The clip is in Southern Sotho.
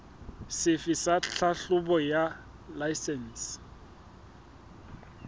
sefe sa tlhahlobo ya laesense